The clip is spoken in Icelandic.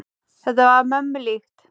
Þetta var mömmu líkt.